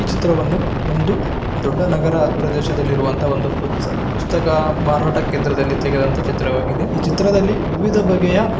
ಈ ಚಿತ್ರವನ್ನು ಒಂದು ದೊಡ್ಡ ನಗರ ಪ್ರದೇಶದಲ್ಲಿರುವಂತ ಒಂದು ಪುಸ್ತಕ ಮಾರಾಟ ಕೇಂದ್ರದಲ್ಲಿ ತೆಗೆದಂತ ಚಿತ್ರವಾಗಿದೆ ಈ ಚಿತ್ರದಲ್ಲಿ ವಿವಿಧ ಬಗೆಯ.